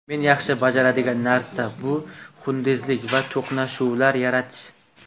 Men yaxshi bajaradigan narsa bu xunrezlik va to‘qnashuvlar yaratish.